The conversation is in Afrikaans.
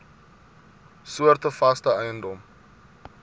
soorte vaste eiendom